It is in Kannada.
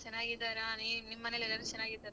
ಚೆನ್ನಾಗಿದಾರ ಅಲ್ಲಿ ನಿಮ್ಮನೇಲೆಲ್ಲರು ಚೆನ್ನಾಗಿದಾರ?